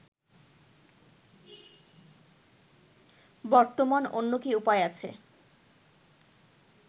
বর্তমান অন্য কি উপায় আছে